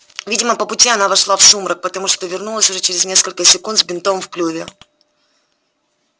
видимо по пути она вошла в сумрак потому что вернулась уже через несколько секунд с бинтом в клюве